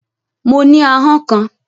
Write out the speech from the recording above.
Mo ní ahọ́n kan